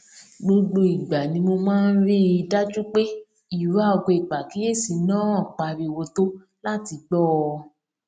gbogbo ìgbà ni mo máa ń rí i dájú pé ìró aago ìpàkíyèsí náà pariwo tó láti gbó ọ